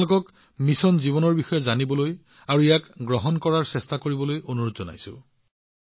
মই আপোনালোকক মিছন লাইফৰ বিষয়েও জানিবলৈ আৰু ইয়াক গ্ৰহণ কৰিবলৈ প্ৰয়াস কৰাৰ বাবে অনুৰোধ জনাইছো